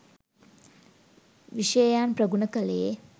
විෂයයන් ප්‍රගුණ කළේ.